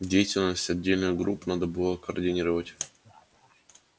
деятельность отдельных групп надо было координировать